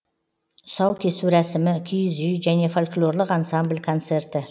тұсаукесу рәсімі киіз үй және фольклорлық ансамбль концерті